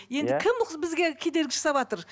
енді кім бізге кедергі жасаватыр